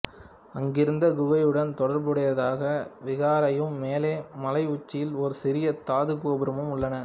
அங்கிருந்த குகையுடன் தொடர்புடையதாக விகாரையும் மேலே மலை உச்சியில் ஒரு சிறிய தாதுகோபுரமும் உள்ளன